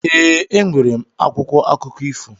E, e nwere m akwụkwọ akụkọ ifo.